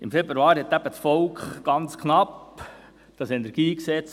Im Februar verwarf das Volk eben ganz knapp das KEnG.